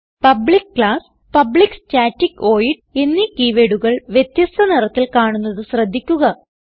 public class public static void എന്നീ keywordകൾ വ്യത്യസ്ഥ നിറത്തിൽ കാണുന്നത് ശ്രദ്ധിക്കുക